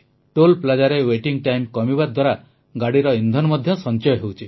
toll plaza ରେ waiting time କମିବା ଦ୍ୱାରା ଗାଡ଼ିର ଇନ୍ଧନ ମଧ୍ୟ ସଂଚୟ ହେଉଛି